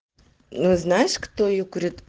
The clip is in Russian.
ну знаешь кто её говорит